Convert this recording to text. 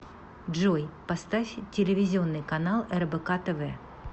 джой поставь телевизионный канал рбк тв